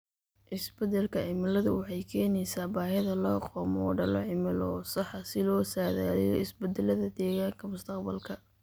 Isbeddelka cimiladu waxay keenaysaa baahida loo qabo moodallo cimilo oo sax ah si loo saadaaliyo isbeddellada deegaanka mustaqbalka.